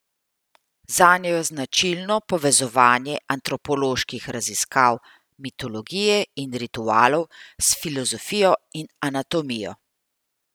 Zanjo je značilno povezovanje antropoloških raziskav mitologije in ritualov s filozofijo in anatomijo.